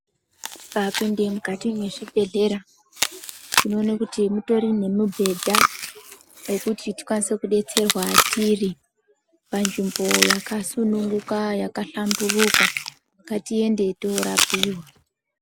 Tikapinde mukati mwezvibhedhlera tinoona kuti mutori nemubhedha yekuti tikwanise kudetserwa tiri panzvimbo yakasununguka yakahlamburuka ngatiende torapiwa.